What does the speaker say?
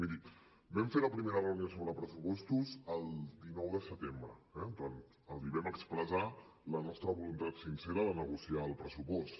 miri vam fer la primera reunió sobre pressupostos el dinou de setembre eh els vam expressar la nostra voluntat sincera de negociar el pressupost